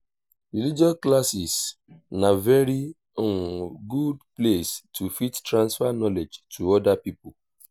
religious classes na very good place to fit transfer knowledge to oda pipo